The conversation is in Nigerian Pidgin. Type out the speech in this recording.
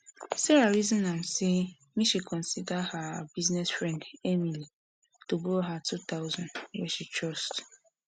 sarah reason am say make she consider her business friend emily to borrow her two thousand wey she trust